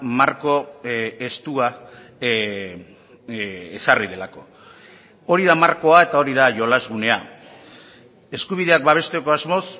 marko estua ezarri delako hori da markoa eta hori da jolas gunea eskubideak babesteko asmoz